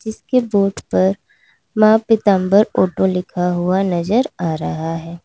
इसके बोर्ड पर मां पीतांबर ऑटो लिखा हुआ नजर आ रहा है।